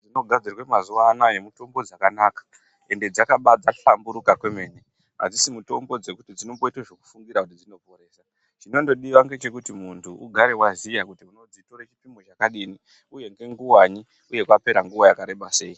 Dzinogadzirwa nazuva anaya mitombo dzakanaka ende dzakaba dzahlamburuka kwemene. Hadzisi mitombo dzekuti dzinoboita dzekufungira kuti dzinoporesa. Chinondodiva nechekuti muntu ugare vaziya kuti unodzitore chipimo chakadini, uye nenguvanyi, uye kwapera nguva yakareba sei.